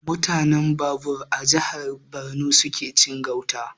Mutanen Babur a jihar Borno suke cin gauta